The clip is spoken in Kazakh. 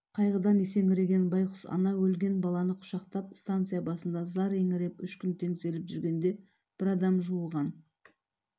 қайғыдан есеңгіреген байқұс ана өлген баланы құшақтап станция басында зар еңіреп үш күн теңселіп жүргенде бір адам жуыған